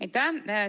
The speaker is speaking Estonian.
Aitäh!